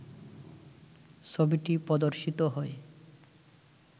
ছবিটি প্রদর্শিত হয়